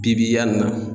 Bibi yanni